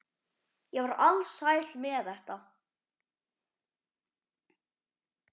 Ég var alsæl með þetta.